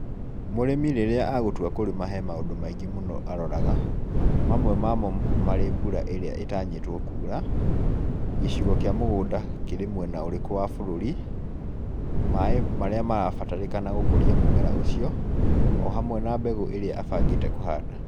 Mũrĩmi rĩrĩa agũtua kũrĩma he maũndũ maingĩ mũno aroraga, mamwe mamo marĩ mbura ĩrĩa ĩtanyitwo kura, gicigo kĩa mũgũnda kĩrĩ mwena ũrĩkũ wa bũrũri, maĩ marĩa mabataranĩtie gũkũria mũmera ũcio, ohamwe na mbegũ ĩrĩa abangĩte kũhanda.